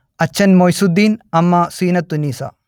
അച്ഛൻ മൊയ്സുദ്ദീൻ അമ്മ സീനത്തുന്നീസ